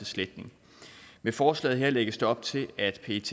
sletning med forslaget her lægges der op til at pet